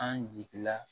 An jigi la